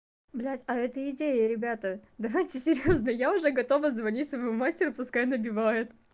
блять а это идея ребята давайте серьёзно я уже готова звонить своему мастеру пускай набивает